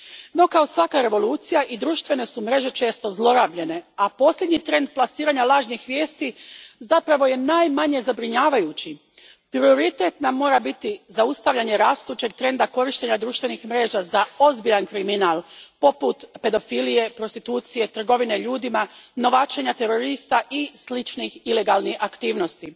No, kao svaka revolucija, i društvene su mreže često zlorabljene, a posljednji trend plasiranja lažnih vijesti zapravo je najmanje zabrinjavajući. Prioritet nam mora biti zaustavljanje rastućeg trenda korištenja društvenih mreža za ozbiljan kriminal poput pedofilije, prostitucije, trgovine ljudima, novačenja terorista i sličnih ilegalnih aktivnosti.